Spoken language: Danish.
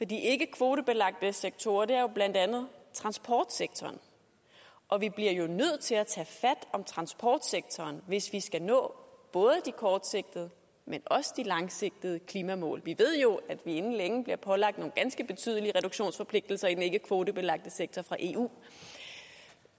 de ikkekvotebelagte sektorer er jo blandt andet transportsektoren og vi bliver nødt til at tage fat om transportsektoren hvis vi skal nå både de kortsigtede men også de langsigtede klimamål vi ved jo at vi inden længe bliver pålagt nogle ganske betydelige reduktionsforpligtelser i den ikkekvotebelagte sektor fra eu